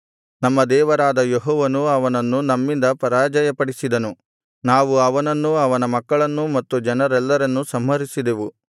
ನಮ್ಮ ದೇವರಾದ ಯೆಹೋವನು ಅವನನ್ನು ನಮ್ಮಿಂದ ಪರಾಜಯಪಡಿಸಿದನು ನಾವು ಅವನನ್ನೂ ಅವನ ಮಕ್ಕಳನ್ನೂ ಮತ್ತು ಜನರೆಲ್ಲರನ್ನೂ ಸಂಹರಿಸಿದೆವು